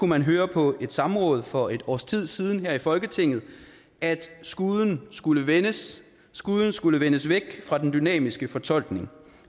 man høre på et samråd for et års tid siden her i folketinget at skuden skulle vendes skuden skulle vendes væk fra den dynamiske fortolkning